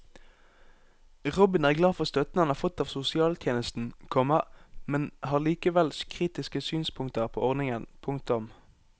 Robin er glad for støtten han har fått av sosialtjenesten, komma men har likevel kritiske synspunkter på ordningen. punktum